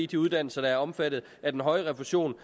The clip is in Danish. de uddannelser der er omfattet af den høje refusion